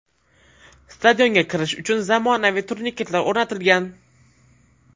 Stadionga kirish uchun zamonaviy turniketlar o‘rnatilgan .